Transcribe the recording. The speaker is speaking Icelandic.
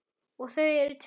Og þau eru tvö.